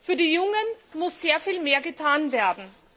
Für die Jungen muss sehr viel mehr getan werden.